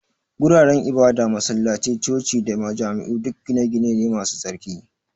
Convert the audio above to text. Guraren ibada, masallatai, coci-coci da majami'u duk gine-gine ne masu tsarki.